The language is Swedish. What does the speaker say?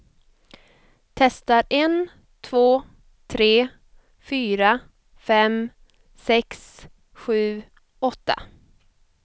Testar en två tre fyra fem sex sju åtta.